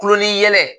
Kulon ni yɛlɛ